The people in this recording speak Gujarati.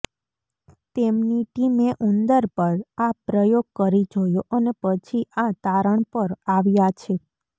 તેમની ટીમે ઉંદર પર આ પ્રયોગ કરી જોયો અને પછી આ તારણ પર આવ્યાં છે